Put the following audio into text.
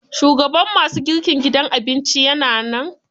Shugaban ma su girkin gidan abincin ya na nan?